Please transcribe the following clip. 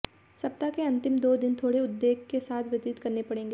सप्ताह के अंतिम दो दिन थोड़े उद्वेग के साथ व्यतीत करने पड़ेंगे